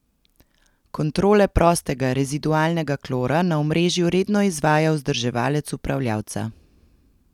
Kontrole prostega rezidualnega klora na omrežju redno izvaja vzdrževalec upravljavca.